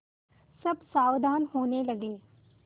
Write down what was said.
सब सावधान होने लगे